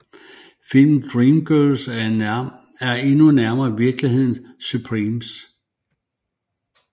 Filmens Dreamgirls er endnu nærmere virkelighedens Supremes